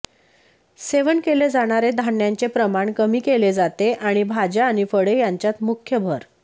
सेवन केले जाणारे धान्यांचे प्रमाण कमी केले जाते आणि भाज्या आणि फळे यांच्यात मुख्य भर